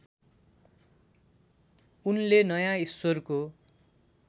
उनले नयाँ ईश्वरको